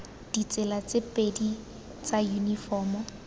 ditsela tse pedi tsa yunifomo